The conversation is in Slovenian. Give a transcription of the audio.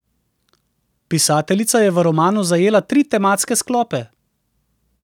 Pisateljica je v romanu zajela tri tematske sklope.